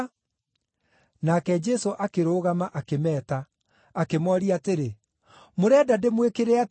Nake Jesũ akĩrũgama, akĩmeeta. Akĩmooria atĩrĩ, “Mũrenda ndĩmwĩkĩre atĩa?”